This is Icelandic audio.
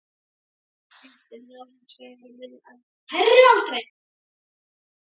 Heimiliskettir ná hins vegar mun hærri aldri.